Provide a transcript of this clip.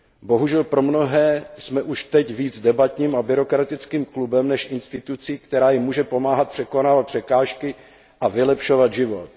Bohužel pro mnohé jsme už teď víc debatním a byrokratickým klubem než institucí, která jim může pomáhat překonávat překážky a vylepšovat život.